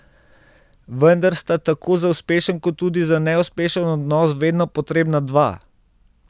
Vendar sta tako za uspešen kot tudi za neuspešen odnos vedno potrebna dva.